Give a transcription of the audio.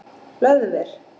Hlöðver